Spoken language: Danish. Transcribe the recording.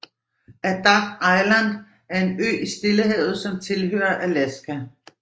Adak Island er en ø i Stillehavet som tilhører Alaska